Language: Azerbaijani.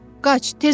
Qaç, tez ol!